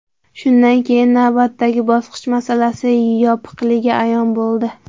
Shundan keyin navbatdagi bosqich masalasi yopiqligi ayon bo‘ldi.